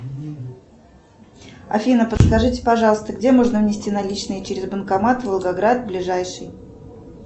афина подскажите пожалуйста где можно внести наличные через банкомат волгоград ближайший